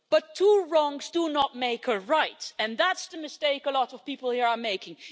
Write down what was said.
But two wrongs do not make a right, and that's the mistake a lot of people here are making.